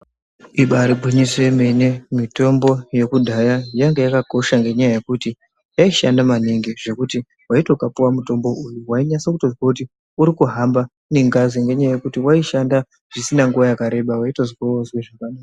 Ibaari gwinyiso yemene mitombo yekudhaya yanga yakakosha ngenyaya yekuti yaishanda maningi. Zvekuti waiti ukapuwa mutombo uyu wainyasa kutozwa kuti urikuhamba nengazi ngenyaya yekuti waishanda zvisina nguva yakareba, waitozwa woozwe zvaka...